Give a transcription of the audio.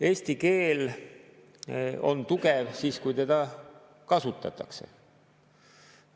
Eesti keel on tugev siis, kui seda kasutatakse.